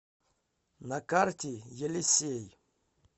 на карте елисей